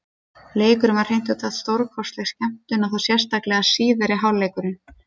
Leikurinn var hreint út sagt stórkostleg skemmtun, og þá sérstaklega síðari hálfleikurinn.